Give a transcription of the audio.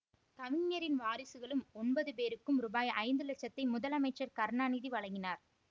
கவிஞரின் வாரிசுகள் ஒன்பது பேருக்கும் ரூபாய் ஐந்து இலட்சத்தை முதல்அமைச்சர் கருணாநிதி வழங்கினார்